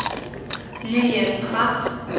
Lillian Pham